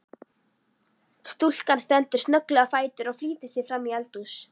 Stúlkan stendur snögglega á fætur og flýtir sér framí eldhús.